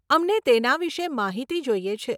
અમને તેના વિષે માહિતી જોઈએ છે.